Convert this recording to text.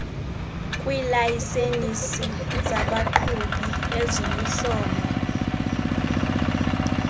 kwiilayisensi zabaqhubi eziluhlobo